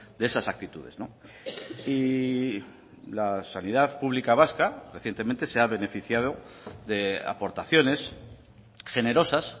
de esas actitudes y la sanidad pública vasca recientemente se ha beneficiado de aportaciones generosas